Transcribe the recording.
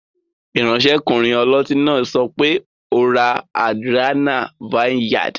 Iransekunrin oloti naa sope, "o ra Adrianna vineyard"